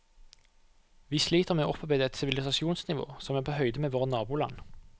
Vi sliter med å opparbeide et sivilisasjonsnivå som er på høyde med våre naboland.